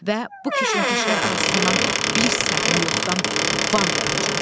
Və bu keşməkeşlər arasından bir səhnə yoxdan var yaradacam.